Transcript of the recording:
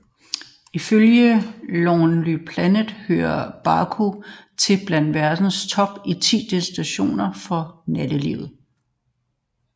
Ifølge Lonely Planet hører Baku til blandt verdens top ti destinationer for natteliv